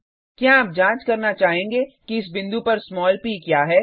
क्या आप जांच करना चाहेंगे कि इस बिंदु पर स्मॉल प क्या है